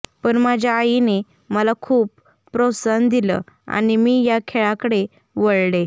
पण माझ्या आईने मला खूप प्रोत्साहन दिलं आणि मी या खेळाकडे वळले